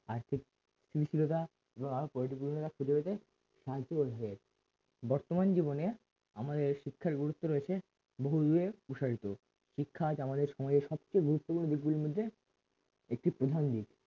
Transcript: স্থিতিশীলতা বর্তমান জীবনে আমাদের শিক্ষার গুরুত্ব রয়েছে বহু এর প্রসারিত শিক্ষা আজ আমাদের আমাদের সমাজের সবচেয়ে গুরুত্বপূর্ণ দিকগুলোর মধ্যে একটা প্রধান দিক